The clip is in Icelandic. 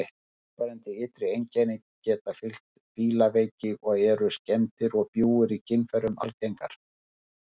Mjög áberandi ytri einkenni geta fylgt fílaveiki og eru skemmdir og bjúgur í kynfærum algengar.